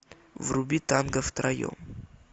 вруби танго втроем